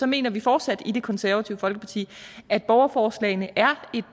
mener vi fortsat i det konservative folkeparti at borgerforslagene er